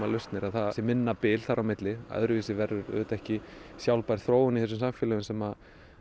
lausnir að það sé minna bil þar á milli öðruvísi verður auðvitað ekki sjálfbær þróun í þessum samfélögum sem